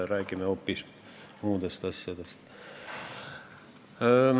Räägin hoopis muudest asjadest.